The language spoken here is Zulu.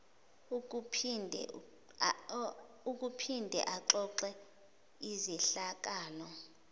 ukuphinde axoxe izehlakalo